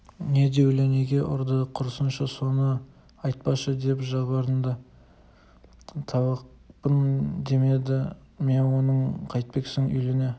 не деулі неге ұрды құрысыншы соны айтпашы деп жалбарынды талақпын демеді ме оны қайтпексің үйлене